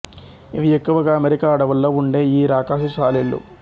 ఇవి ఎక్కువగా అమెరికా అడవుల్లో ఉండే ఈ రాకాసి సాలీళ్ళు